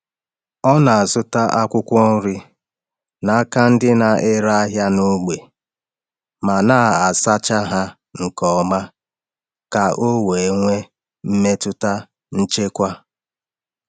Ọ na-azụta akwụkwọ nri n’aka ndị na-ere ahịa n’ógbè ma na-asacha ha nke ọma ka o wee nwee mmetụta nchekwa.